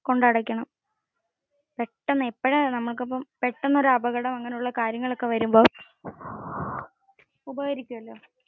പെട്ടെന്ന് അപകടം അങ്ങനെ ഒക്കെ ഉള്ള കാര്യങ്ങൾ ഒക്കെ വരുമ്പോ ഉപകരിക്കും.